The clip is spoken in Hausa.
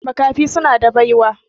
Makafi suna da baiwa.